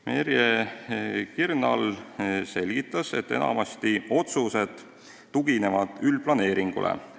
Merje Krinal selgitas, et enamasti otsused tuginevad üldplaneeringule.